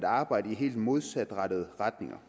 arbejde i helt modsatrettede retninger